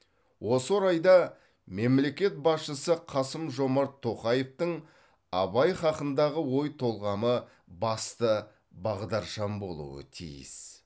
осы орайда мемлекет басшысы қасым жомарт тоқаевтың абай хақындағы ой толғамы басты бағдаршам болуы тиіс